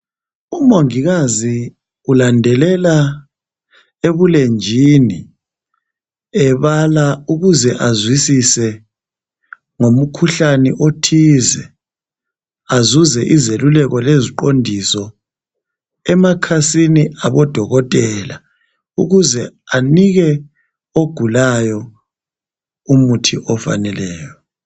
umongikazi ulandelela ebulenjini ebala ukuze azwisise ngomikhuhlane ethize, azuze izekulelo leziqondiso emakhasini abo dokotela ukuze anike ogulayo umuthi ofaneleyo.